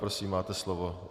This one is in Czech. Prosím, máte slovo.